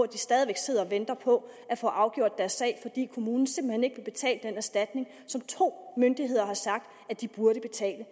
de stadig væk sidder og venter på at få afgjort deres sag fordi kommunen simpelt hen ikke vil betale den erstatning som to myndigheder har sagt de burde betale